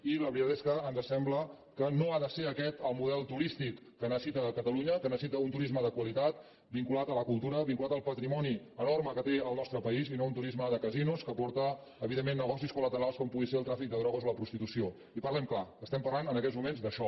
i la veritat és que ens sembla que no ha de ser aquest el model turístic que necessita catalunya que necessita un turisme de qua·litat vinculat a la cultura vinculat al patrimoni enorme que té el nostre país i no un turisme de casinos que porta evidentment negocis col·el tràfic de drogues o la prostitució i parlem clar es·tem parlant en aquests moments d’això